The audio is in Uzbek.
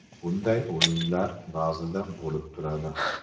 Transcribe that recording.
Bunday o‘yinlar ba’zida bo‘lib turadi.